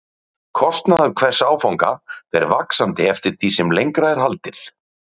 Kostnaður hvers áfanga fer vaxandi eftir því sem lengra er haldið.